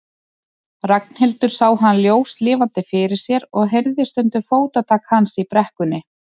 Ragnhildur sá hann ljóslifandi fyrir sér og heyrði stundum fótatak hans í brekkunni.